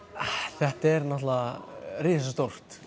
þetta er náttúrulega risastórt